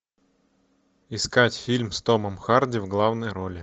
искать фильм с томом харди в главной роли